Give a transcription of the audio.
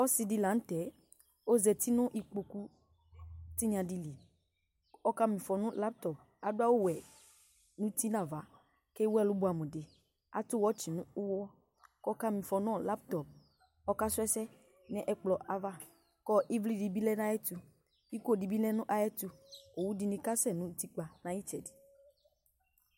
Ɔsɩdɩ la nʋ tɛ ozati n'ikpoku tiɩnya dɩ ,ɔkam'ɩfɔ nʋ lamptɔ ,adʋ awʋwɛ uti n'ava ,k'wu ɛlʋ bʋɛamʋ dɩ ,atʋ wɛtsɩ n'ʋɣɔ k'ɔka mɩfɔ nʋ lamptɔ kɔka sʋɛsɛ n'ɛkplọava ɩvlɩ dɩ bɩlɛ n'ayɛtʋ iko dɩ bɩ lɛ n'ayɛtʋ owu dɩnɩ kasɛ n'utikpa n'ayɩtsɛdɩ